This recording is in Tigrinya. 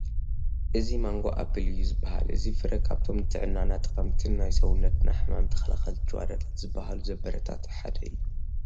እዚ ማንጎ ኣፕል እዩ ዝበሃል እዚ ፍረ ካብቶም ንጥዕናና ጠቐምቲን ናይ ሰውነትና ሕማም ተኸላኸልቲ ጭዋዳታት ዝበሃሉ ዘበረታትዕ ሓደ እዩ ።